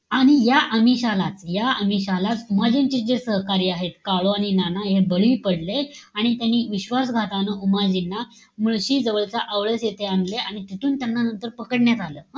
आणि या आमिशालाच, या आमिशालाच, उमाजींचेच जे सहकारी आहेत, काळू आणि नाना हे बळी पडले. आणि त्यांनी विश्वासघातानं उमाजींना मुळशी जवळच्या आवळस इथे आणले. आणि तिथून त्यांना नंतर पकडण्यात आलं.